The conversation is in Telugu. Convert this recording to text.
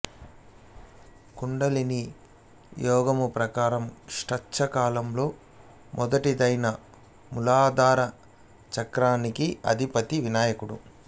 కుండలినీ యోగము ప్రకారము షట్చక్రాలలో మొదటిదైన మూలాధార చక్రానికి అధిపతి వినాయకుడు